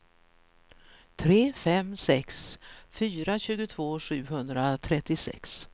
tre fem sex fyra tjugotvå sjuhundratrettiosex